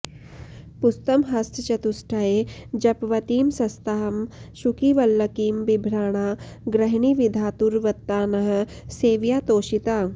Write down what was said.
पुस्तं हस्तचतुष्टये जपवटीं शस्तां शुकीं वल्लकीं बिभ्राणा गृहिणी विधातुरवतान्नः सेवया तोषिता